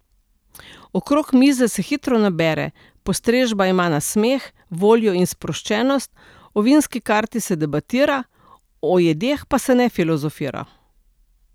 Okrog mize se hitro nabere, postrežba ima nasmeh, voljo in sproščenost, o vinski karti se debatira, o jedeh pa se ne filozofira.